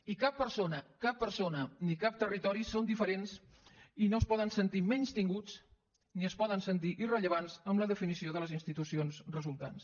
i cap persona cap persona ni cap territori són diferents i no es poden sentir menystinguts ni es poden sentir irrellevants en la definició de les institucions resultants